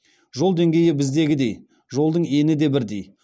жол деңгейі біздегідей жолдың ені де бірдей